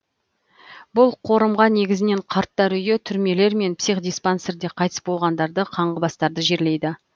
бұл қорымға негізінен қарттар үйі түрмелер мен психдиспансерде қайтыс болғандарды қаңғыбастарды жерлейді